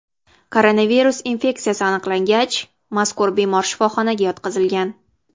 Koronavirus infeksiyasi aniqlangach, mazkur bemor shifoxonaga yotqizilgan.